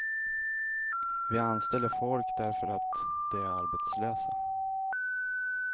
Vi anställer folk därför att de är arbetslösa.